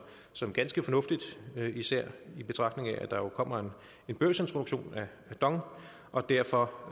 som ganske fornuftigt især i betragtning af at der jo kommer en børsintroduktion af dong og derfor